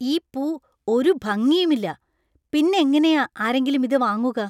ഈ പൂ ഒരു ഭംഗിയും ഇല്ലാ . പിന്നെങ്ങെനയാ ആരെങ്കിലും ഇത് വാങ്ങുക?